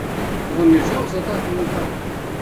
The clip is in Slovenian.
Vam je žal za ta komentar?